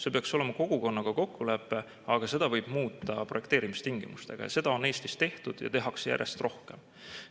See peaks olema kogukonnaga kokkulepe, aga seda võib muuta projekteerimistingimustega, ja seda on Eestis tehtud ja tehakse järjest rohkem.